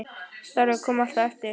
Starfið kom alltaf á eftir.